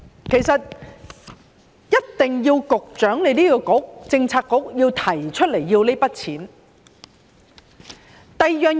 其實，一定要局長的政策局提出撥款申請。